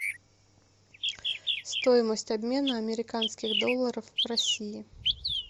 стоимость обмена американских долларов в россии